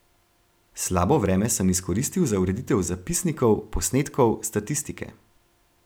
Slabo vreme sem izkoristil za ureditev zapisnikov, posnetkov, statistike.